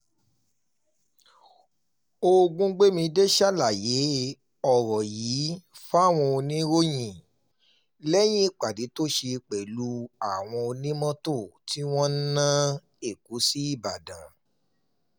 ògúngbẹ̀mídé ṣàlàyé ọ̀rọ̀ yìí fáwọn oníròyìn lẹ́yìn ìpàdé tó ṣe pẹ̀lú àwọn onímọ́tò tí wọ́n ń ná èkó sí ìbàdàn